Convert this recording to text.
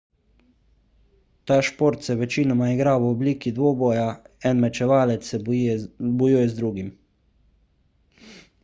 ta šport se večinoma igra v obliki dvoboja en mečevalec se bojuje z drugim